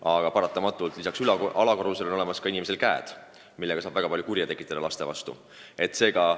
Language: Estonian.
Aga inimesel on lisaks alakorrusele olemas ka käed, millega saab lastele väga palju kurja teha.